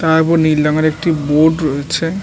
তারপর নীল রঙের একটি বোর্ড রয়েছে ।